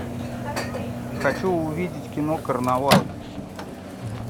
хочу увидеть кино карнавал